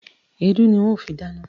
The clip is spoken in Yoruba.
Èédú ni n ó fi dáná.